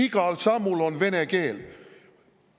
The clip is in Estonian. Igal sammul on vene keel!